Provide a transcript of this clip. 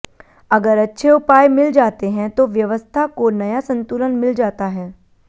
अगर अच्छे उपाय मिल जाते हैं तो व्यवस्था को नया संतुलन मिल जाता है